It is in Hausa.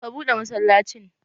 Ka buɗe masallacin!